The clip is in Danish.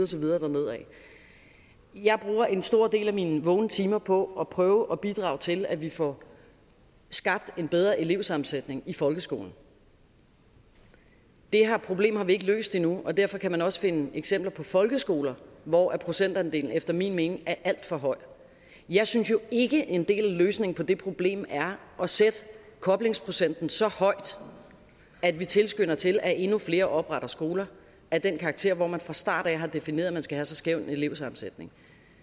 så videre dernedad jeg bruger en stor del af mine vågne timer på at prøve at bidrage til at vi får skabt en bedre elevsammensætning i folkeskolen det problem har vi ikke løst endnu og derfor kan man også finde eksempler på folkeskoler hvor procentandelen efter min mening er alt for høj jeg synes jo ikke en del af løsningen på det problem er at sætte koblingsprocenten så højt at vi tilskynder til at endnu flere opretter skoler af den karakter hvor man fra starten af har defineret at man skal have så skæv en elevsammensætning